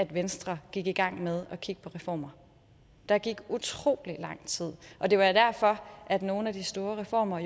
venstre gik i gang med at kigge på reformer der gik utrolig lang tid og det var jo derfor at nogle af de store reformer